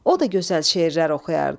O da gözəl şeirlər oxuyardı.